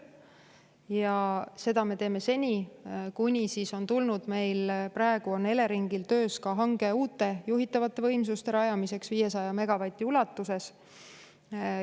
Ja seda me teeme seni, kuni on tulnud hange uute juhitavate võimsuste rajamiseks 500 megavati ulatuses, praegu on Eleringil see hange töös.